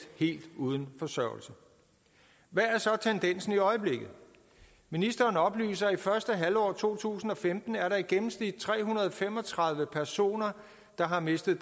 helt uden forsørgelse hvad er så tendensen i øjeblikket ministeren oplyser at i første halvår af to tusind og femten er der i gennemsnit tre hundrede og fem og tredive personer der har mistet